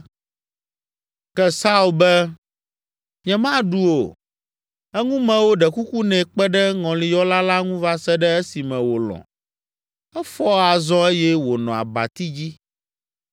Ke Saul be, “Nyemaɖu o.” Eŋumewo ɖe kuku nɛ kpe ɖe ŋɔliyɔla la ŋu va se ɖe esime wòlɔ̃. Efɔ azɔ eye wònɔ abati dzi.